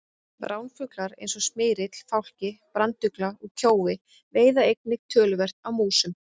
Ránfuglar eins og smyrill, fálki, brandugla og kjói veiða einnig töluvert af músum.